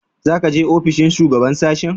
Za ka je ofishin shugaban sashen?